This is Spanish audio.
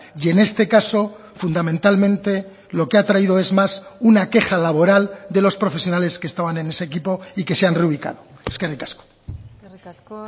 y en este caso fundamentalmente lo que ha traído es más una queja laboral de los profesionales que estaban en ese equipo y que se han reubicado eskerrik asko eskerrik asko